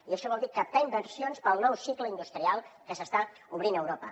i això vol dir captar inversions per al nou cicle industrial que s’està obrint a europa